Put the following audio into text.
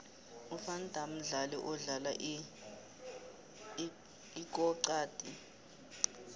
uvan dam mdlali odlala ikoxadi